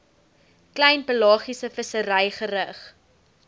klein pelagiesevissery gerig